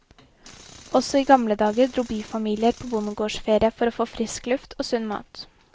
Også i gamle dager dro byfamilier på bondegårdsferie for å få frisk luft og sunn mat.